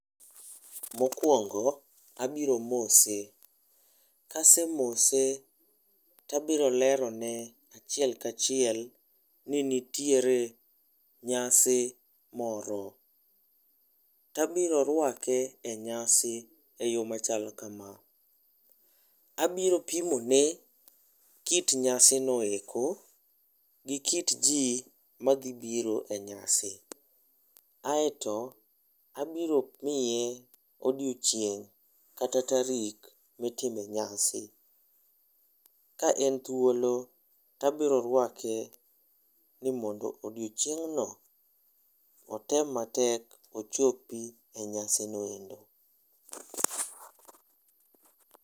Mokuongo, abiro mose. Kasemose, tabiro lero ne achiel kachiel ni nitiere nyasi moro. Tabiro rwake e nyasi e yo machalo kama; abiro pimo ne kit nyasi noeko gi kit ji ma dhi biro e nyasi. Aeto abiro miye odiochieng' kata tarik mitime nyasi. Ka en thuolo, tabiro rwake ni mondo odiochieng' no, otem matek ochopi e nyasi no.